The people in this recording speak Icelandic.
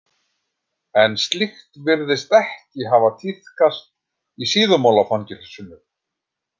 En slíkt virðist ekki hafa tíðkast í Síðumúlafangelsinu.